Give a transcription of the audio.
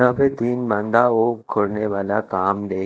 यहां पे तीन बंदा वो करने वाला काम देख--